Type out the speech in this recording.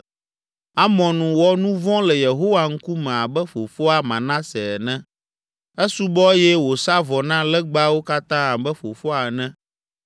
Amon wɔ nu vɔ̃ le Yehowa ŋkume abe fofoa, Manase, ene. Esubɔ eye wòsa vɔ na legbawo katã abe fofoa ene,